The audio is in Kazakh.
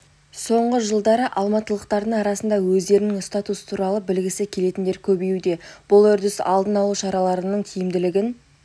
соңғы жылдары алматылықтардың арасында өздерінің статусы туралы білгісі келетіндер көбеюде бұл үрдіс алдын алу шараларының тиімділігін